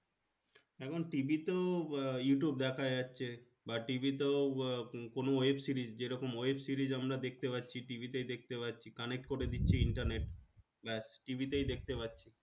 এখন TV তে YouTube দেখা যাচ্ছে বা TV তে কোনো web series যেরকম web series আমরা দেখতে পাচ্ছি TV তাই দেখতে পাচ্ছি connect করে দিচ্ছি internet ব্যাস TV তেই দেখতে পাচ্ছি